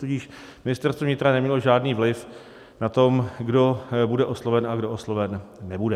Tudíž Ministerstvo vnitra nemělo žádný vliv na to, kdo bude osloven a kdo osloven nebude.